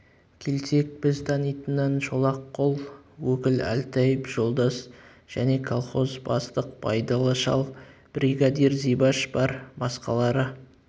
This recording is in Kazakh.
келсек біз танитыннан шолақ қол өкіл әлтаев жолдас және колхоз бастық байдалы шал бригадир зибаш бар басқалары